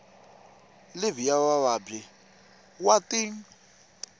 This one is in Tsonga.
livhi ya vuvabyi wa tin